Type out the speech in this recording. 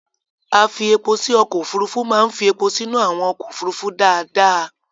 Afi-epo-sí ọkọ̀ òfurufú máa fí epo sínú àwọn ọkọ̀ òfurufú dáadáa.